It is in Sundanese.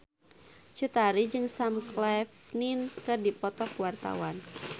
Cut Tari jeung Sam Claflin keur dipoto ku wartawan